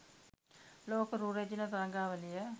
ලෝක රූ රැජිණ තරගාවලිය